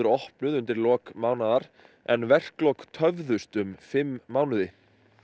opnuð undir lok mánaðar en verklok töfðust um fimm mánuði